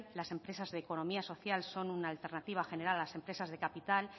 las empresas de economía social son una alternativa general a las empresas de capital